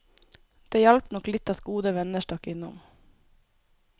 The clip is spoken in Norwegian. Det hjalp nok litt at gode venner stakk innom.